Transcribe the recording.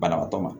Banabaatɔ ma